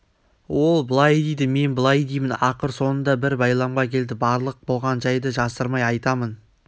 ол былай дейді мен былай деймін ақыр соңында бір байламға келді барлық болған жайды жасырмай айтамын